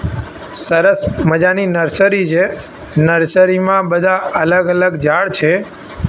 સરસ મજાની નર્સરી છે નર્સરી મા બધા અલગ અલગ ઝાડ છે.